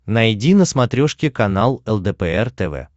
найди на смотрешке канал лдпр тв